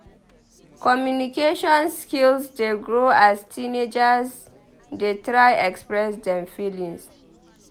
Communication skills dey grow as teenagers dey try express dem feelings.